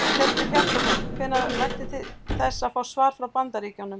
Hjörtur Hjartarson: Hvenær væntið þið þess að fá svar frá Bandaríkjunum?